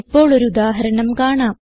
ഇപ്പോൾ ഒരു ഉദാഹരണം കാണാം